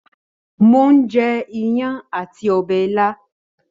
Mò ń jẹ iyán àti ọbẹ̀ ilá